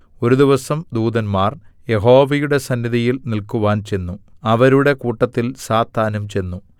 ഒരു ദിവസം ദൂതന്മാര്‍ യഹോവയുടെ സന്നിധിയിൽ നിൽക്കുവാൻ ചെന്നു അവരുടെ കൂട്ടത്തിൽ സാത്താനും ചെന്നു